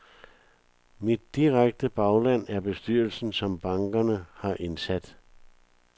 Mit direkte bagland er bestyrelsen, som bankerne har indsat.